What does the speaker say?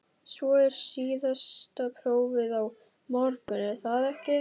Svo er síðasta prófið á morgun, er það ekki?